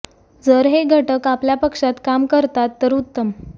जर हे घटक आपल्या पक्षात काम करतात तर उत्तम